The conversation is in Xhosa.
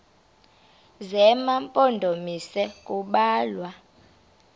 zema mpondomise kubalwa